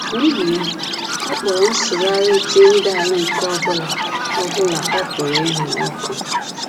N’ihi ya, ọ kpọrọ nsụgharị Tyndale nke ọ bụla ọ bụla ọ pụrụ ịhụ ọkụ